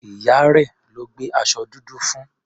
Ìyá rẹ̀ ló gbé aṣọ dúdú fún.